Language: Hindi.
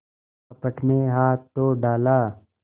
कपट में हाथ तो डाला